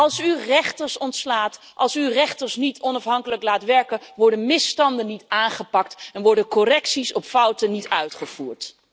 Als u rechters ontslaat, als u rechters niet onafhankelijk laat werken, worden misstanden niet aangepakt en worden correcties op fouten niet uitgevoerd.